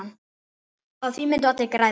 Á því myndu allir græða.